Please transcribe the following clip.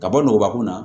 Ka bɔ nɔgɔba kun na